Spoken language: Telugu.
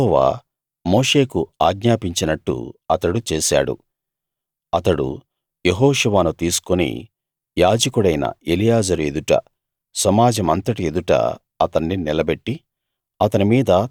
యెహోవా మోషేకు ఆజ్ఞాపించినట్టు అతడు చేశాడు అతడు యెహోషువను తీసుకుని యాజకుడైన ఎలియాజరు ఎదుట సమాజమంతటి ఎదుట అతన్ని నిలబెట్టి